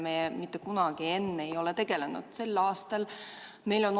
Panen hääletusele Eesti Konservatiivse Rahvaerakonna fraktsiooni ettepaneku eelnõu 347 esimesel lugemisel tagasi lükata.